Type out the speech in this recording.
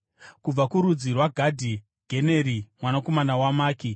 kubva kurudzi rwaGadhi, Generi mwanakomana waMaki.